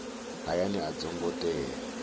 hayani a dzo ngo tea